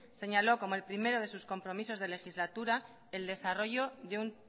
señaló como el primero de sus compromisos de legislaturas el desarrollo de un